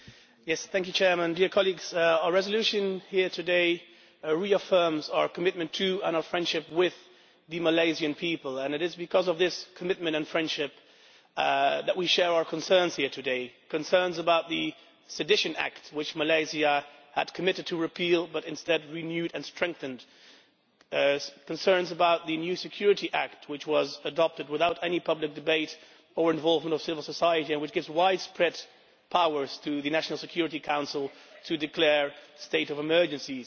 Mr President, our resolution here today reaffirms our commitment to and our friendship with the Malaysian people and it is because of this commitment and friendship that we share our concerns here today concerns about the sedition act which Malaysia had committed to repeal, but instead renewed and strengthened concerns about the new Security Act, which was adopted without any public debate or involvement of civil society and which gives widespread powers to the National Security Council to declare a state of emergency